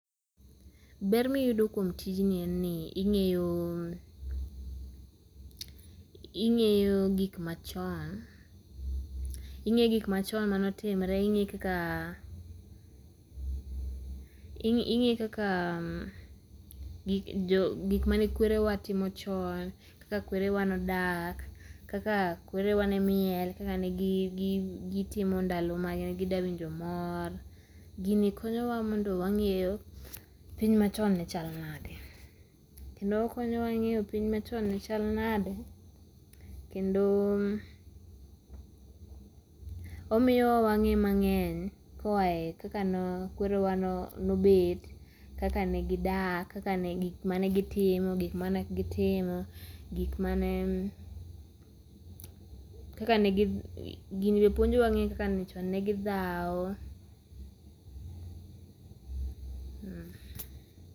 Ber miyudo kuom tijni en ni ing'eyo ing'eyo gik machon, ing'e gik machon manotimre ing'e kaka, ing'e kaka, gi jo, gik mane kwerewa timo chon kaka kwerewa nodak kaka kwerewa ne miel kaka ne gi ,gi , gitimo ndalo mane gidwa winjo mor. Gini konyowa mondo wang'eyo piny machon ne chal nade kendo okonyo wa ng'eyo piny machon ne chal nade kendo omiyowa wang'e mang'eny koae kakane kwerewa nobet kaka negidak kakane gik mane gitimo gik manok gitimo gik mane ,kaka ne ,gi gini be puonjowa ng'eyo kaka chon ne gidhawo, mmh.